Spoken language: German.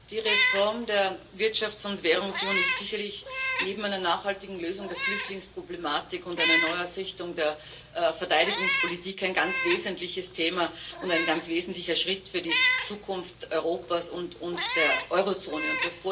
Die Reform der Wirtschafts und Währungsunion ist sicherlich neben einer nachhaltigen Lösung der Flüchtlingsproblematik und einer Neuausrichtung der Verteidigungspolitik ein ganz wesentliches Thema und ein ganz wesentlicher Schritt für die Zukunft Europas und der Eurozone.